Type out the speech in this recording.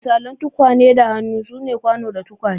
Misalai na tukwane da hannu sune kwano da tukwane.